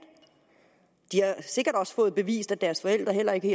de har sikkert også fået bevist at deres forældre ikke